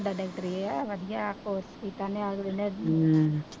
doctor ਇਹ ਏ ਵਧੀਆ ਕੋਰਸ ਕੀਤਾ ਨੇ ਅਗਲੇ ਨੇ,